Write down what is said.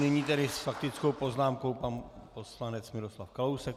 Nyní tedy s faktickou poznámkou pan poslanec Miroslav Kalousek.